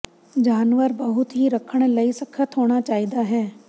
ਜਾਨਵਰ ਬਹੁਤ ਹੀ ਰੱਖਣ ਲਈ ਸਖ਼ਤ ਹੋਣਾ ਚਾਹੀਦਾ ਹੈ